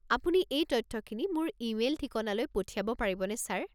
আপুনি এই তথ্যখিনি মোৰ ইমেইল ঠিকনালৈ পঠিয়াব পাৰিবনে ছাৰ?